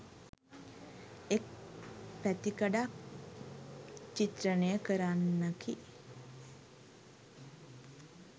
එක් පැතිකඩක් චිත්‍රණය කරන්නකි.